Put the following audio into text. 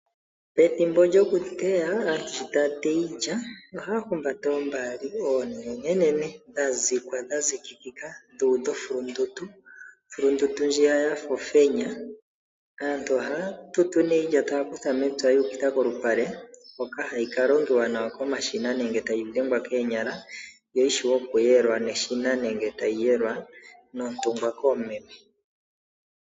Pethimbo lyokuteya aantu sho taya teya iilya ohaya humbata oombaali oonene dha zikwa ,dha zikikika .Aantu ohaya tutu nee iilya taya kutha mepya yi ukitha kolupale hoka hayi kalongelwa nawa komashina nenge tayi dhengwa koonyala yo yishiwe okuyelwa neshina nenge tayi yelwa nontungwa koomeme.